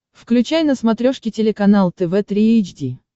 включай на смотрешке телеканал тв три эйч ди